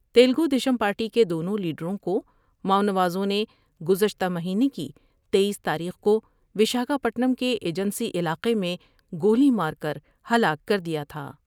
Telugu Desam party کے دونوں لیڈروں کو ماؤ نوازوں نے گزشتہ مہینے کی تییس تاریخ کو وشاکھا پٹنم کے ایجنسی علاقے میں گولی مارکر ہلاک کر دیا تھا ۔